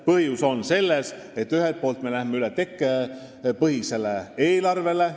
Põhjus on ühelt poolt selles, et me läheme üle tekkepõhisele eelarvele.